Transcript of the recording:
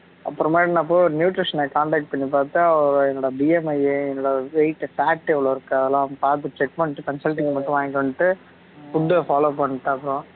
அப்பறமா நா போய் ஒரு nutrition ஐ contact பண்ணி பாத்தா அவரு என்னோட BMI என்னோட weight fat எவளோ இருக்கு அதெல்லாம் பாத்து check பண்ணீட்டு consulting மட்டும் வாங்கீட்டு வந்துட்டு food follow பண்ணீட்டேன் அப்பறம்